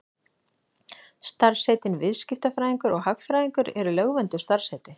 Starfsheitin viðskiptafræðingur og hagfræðingur eru lögvernduð starfsheiti.